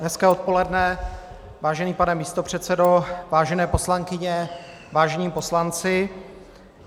Hezké odpoledne, vážený pane místopředsedo, vážené poslankyně, vážení poslanci.